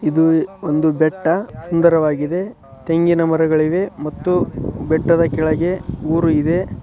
ಇದು ಒಂದು ಬೆಟ್ಟ ಸುಂದರವಾಗಿದೆ ತೆಂಗಿನ ಮರಗಳಿವೆ ಮತ್ತು ಬೆಟ್ಟದ ಕೆಳಗೆ ಊರು ಇದೆ.